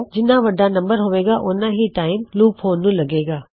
ਜਿਨ੍ਹਾ ਵਡਾ ਨੰਬਰ ਹੋਵੇਗਾ ਉਹਨਾ ਹੀ ਟਾਇਮ ਲੂਪ ਹੋਣ ਨੂੰ ਲਗੇਗਾ